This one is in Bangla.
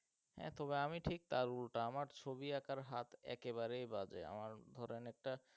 হ্যাঁ তবে আমি ঠিক তার উলটা আমার ছবি আঁকার হাত একেবারেই বাজে আমার ধরেন একটা